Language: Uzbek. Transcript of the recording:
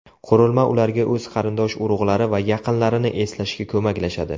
Qurilma ularga o‘z qarindosh-urug‘lari va yaqinlarini eslashga ko‘maklashadi.